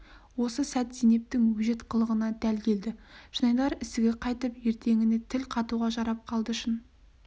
осы сәт зейнептің өжет қылығына дәл келді жанайдар ісігі қайтып ертеңіне тіл қатуға жарап қалды шын